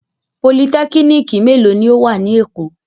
Politẹ́kínìkì mélòó ni ó wà ní Èkó?